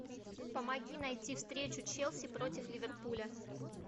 помоги найти встречу челси против ливерпуля